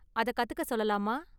அதை கத்துக்க சொல்லலாமா?